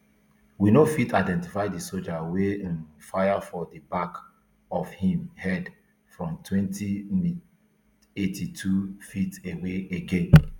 we fit to identify di soldier wey um fire for di back of im head from twenty-fivem eighty-twoft away again